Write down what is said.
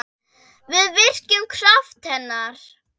Við virkjum kraft hennar.